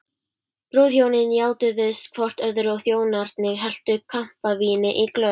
Brúðhjónin játuðust hvort öðru og þjónarnir helltu kampavíni í glös.